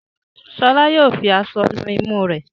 Shola Yóò fí aṣọ nù imú re.